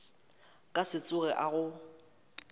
ka se tsoge a go